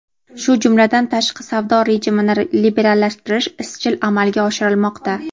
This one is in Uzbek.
shu jumladan tashqi savdo rejimini liberallashtirish izchil amalga oshirilmoqda.